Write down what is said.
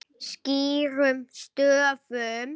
Skýrum stöfum.